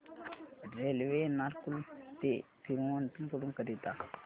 railway Ernakulam ते थिरुवनंतपुरम करीता